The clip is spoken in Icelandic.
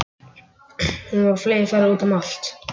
Hún var á fleygiferð úti um allt.